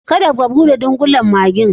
Kada ka bude dunkulen maggi'n.